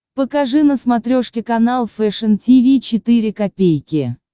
покажи на смотрешке канал фэшн ти ви четыре ка